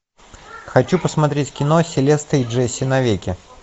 хочу посмотреть кино селеста и джесси навеки